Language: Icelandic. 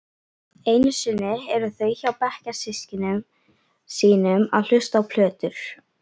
Einusinni eru þau hjá bekkjarsystkinum sínum að hlusta á plötur.